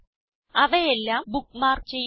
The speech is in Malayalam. അവയെല്ലാം ബുക്ക്മാർക്ക് ചെയ്യുക